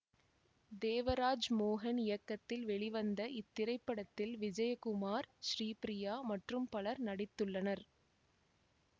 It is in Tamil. தேவராஜ் மோகன் இயக்கத்தில் வெளிவந்த இத்திரைப்படத்தில் விஜயகுமார் ஸ்ரீபிரியா மற்றும் பலரும் நடித்துள்ளனர்